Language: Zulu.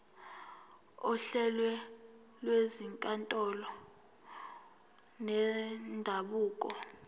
ohlelweni lwezinkantolo zendabuko